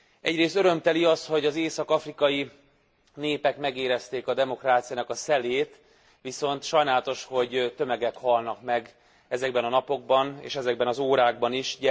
Egyrészt örömteli az, hogy az észak afrikai népek megérezték a demokráciának a szelét, viszont sajnálatos, hogy tömegek halnak meg ezekben a napokban és ezekben az órákban is.